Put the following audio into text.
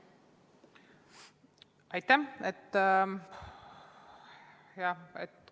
Aitäh!